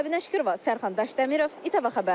Səbinə Şükürova, Sərxan Daşdəmirov, İTV Xəbər.